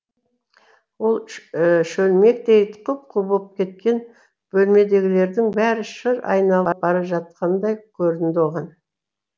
ол шөлмектей құп қу болып кеткен бөлмедегілердің бәрі шыр айналып бара жатқандай көрінді оған